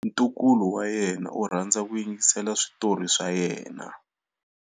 Ntukulu wa yena u rhandza ku yingisela switori swa yena.